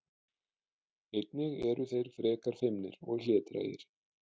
Einnig eru þeir frekar feimnir og hlédrægir.